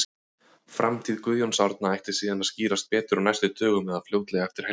Framtíð Guðjóns Árna ætti síðan að skýrast betur á næstu dögum eða fljótlega eftir helgi.